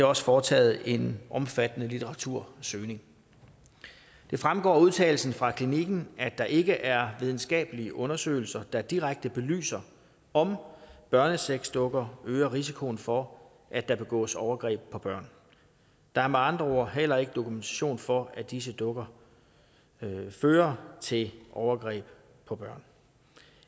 også foretaget en omfattende litteratursøgning det fremgår af udtalelsen fra klinikken at der ikke er videnskabelige undersøgelser der direkte belyser om børnesexdukker øger risikoen for at der begås overgreb på børn der er med andre ord heller ikke dokumentation for at disse dukker fører til overgreb på børn